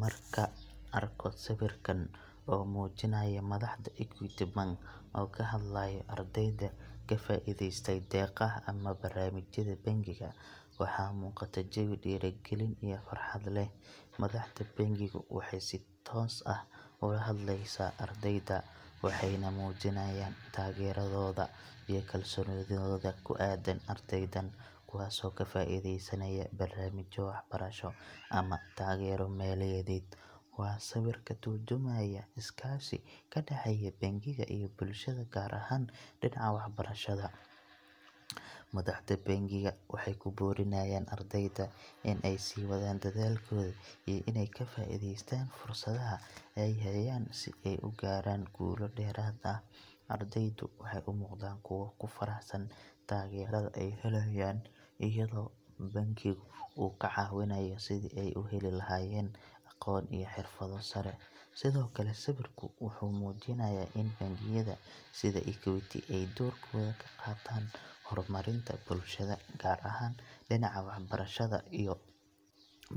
Markaan arko sawirkan oo muujinaya madaxda Equity Bank oo ka hadlayo ardayda ka faa’iideystay deeqaha ama barnaamijyada bangiga, waxa muuqata jawi dhiirrigelin iyo farxad leh. Madaxda bangigu waxay si toos ah u la hadleysaa ardayda, waxayna muujinayaan taageeradooda iyo kalsoonidooda ku aaddan ardaydan, kuwaasoo ka faa’iideysanaya barnaamijyo waxbarasho ama taageero maaliyadeed. Waa sawir ka tarjumaya iskaashi ka dhexeeya bangiga iyo bulshada, gaar ahaan dhinaca waxbarashada. Madaxda bangiga waxay ku boorinayaan ardayda in ay sii wadaan dadaalkooda iyo inay ka faa’iideystaan fursadaha ay hayaan si ay u gaaraan guulo dheeraad ah. Ardaydu waxay u muuqdaan kuwo ku faraxsan taageerada ay helayaan, iyadoo bankigu uu ka caawinayo sidii ay u heli lahaayeen aqoon iyo xirfado sare. Sidoo kale, sawirku wuxuu muujinayaa in bangiyada sida Equity ay doorkooda ka qaataan horumarinta bulshada, gaar ahaan dhinaca waxbarashada.